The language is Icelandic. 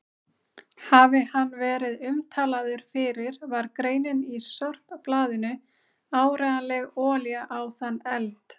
Hafi hann verið umtalaður fyrir var greinin í sorpblaðinu áreiðanleg olía á þann eld.